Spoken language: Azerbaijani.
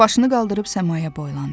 Başını qaldırıb səmaya boylandı.